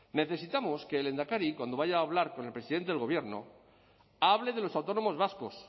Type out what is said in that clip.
necesitamos que el lehendakari cuando vaya a hablar con el presidente del gobierno hable de los autónomos vascos